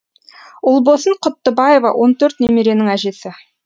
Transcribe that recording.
ұлбосын құттыбаева он төрт немеренің әжесі